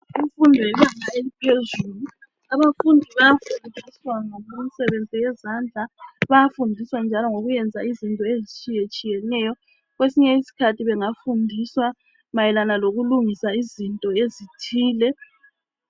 Imfundo yebanga eliphezulu. Abafundi bayafundiswa imisebenzi yezandla. Bayafundiswa njalo ukwenza izinto ezitshiyetshiyeneyo. Kwesinye iskhathi bengafundiswa mayelana lokulungisa izinto ezithile.